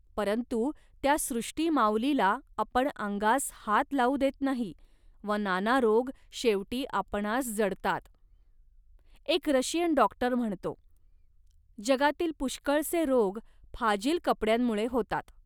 परंतु त्या सृष्टिमाऊलीला आपण अंगास हात लावू देत नाही व नाना रोग शेवटी आपणांस जडतात. एक रशियन डॉक्टर म्हणतो, "जगातील पुष्कळसे रोग फाजील कपड्यांमुळे होतात